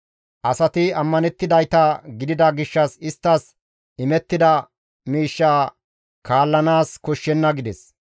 Asati ammanettidayta gidida gishshas isttas imettida miishsha kaallanaas koshshenna» gides.